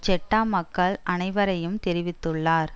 Jeddah மக்கள் அனைவரையும் தெரிவித்துள்ளார்